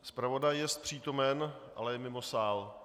Zpravodaj jest přítomen, ale je mimo sál.